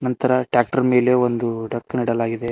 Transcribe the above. ಇತರ ಟ್ಯಾಕ್ಟರ್ ಮೇಲೆ ಒಂದು ಡಕ್ನಿಡಲಾಗಿದೆ.